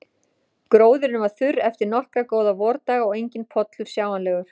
Gróðurinn var þurr eftir nokkra góða vordaga og enginn pollur sjáanlegur.